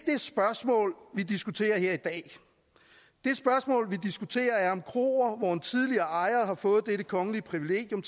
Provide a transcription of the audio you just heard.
spørgsmål vi diskuterer her i dag det spørgsmål vi diskuterer er om kroer hvor en tidligere ejer har fået dette kongelige privilegium